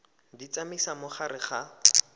di tsamaisa mo gare ga